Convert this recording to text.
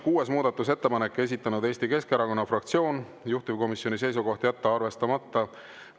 Kuues muudatusettepanek, esitanud Eesti Keskerakonna fraktsioon, juhtivkomisjoni seisukoht on jätta arvestamata.